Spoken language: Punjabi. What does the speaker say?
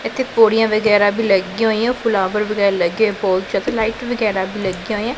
ਇੱਥੇ ਪੌੜੀਆਂ ਵਗੈਰਾ ਵੀ ਲੱਗਿਆਂ ਹੋਈਆਂ ਫੁਲਾਵਾਰ ਵਗੈਰਾ ਲੱਗੇ ਹੋਏ ਲਾਈਟ ਵਗੈਰਾ ਵੀ ਲੱਗਿਆਂ ਹੋਈਆਂ।